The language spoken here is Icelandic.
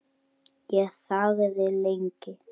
Ég þagði lengi.